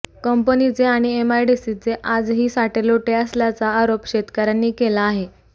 कंपनीचे आणि एमआडीसीचे आजही साटेलोटे असल्याचा आरोप शेतकर्यांनी केला आहे